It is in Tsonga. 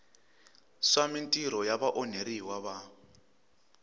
swa mintirho ya vaonheriwa va